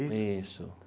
Isso.